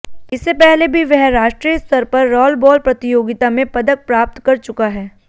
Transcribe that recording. इससे पहले भी वह राष्ट्रीय स्तर पर रॉलबॉल प्रतियोगिता में पदक प्राप्त कर चुका है